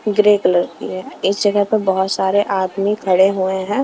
Grey colour की है इस जगह पर बहुत सारे आदमी खड़े हुए हैं।